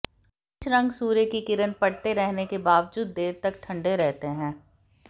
कुछ रंग सूर्य की किरण पड़ते रहने के बावजूद देर तक ठंडे रहते हैं